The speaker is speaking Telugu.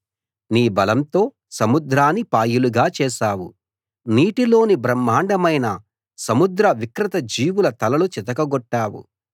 నీ బలంతో సముద్రాన్ని పాయలుగా చేశావు నీటిలోని బ్రహ్మాండమైన సముద్ర వికృత జీవుల తలలు చితకగొట్టావు